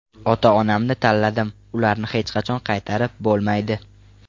Ota-onamni tanladim, ularni hech qachon qaytarib bo‘lmaydi.